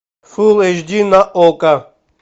фул эйч ди на окко